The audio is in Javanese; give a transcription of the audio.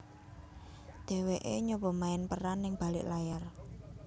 Dheweké nyoba main peran ning balik layar